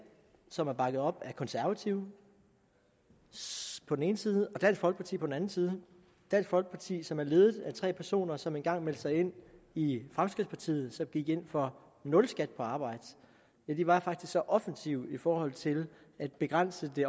som er bakket op af konservative på den ene side og dansk folkeparti på den anden side dansk folkeparti som er ledet af tre personer som engang meldte sig ind i fremskridtspartiet som gik ind for nul skat på arbejde ja de var faktisk så offensive i forhold til at begrænse det